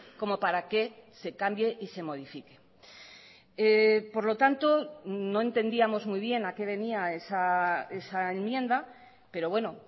como para que se cambie y se modifique por lo tanto no entendíamos muy bien a qué venía esa enmienda pero bueno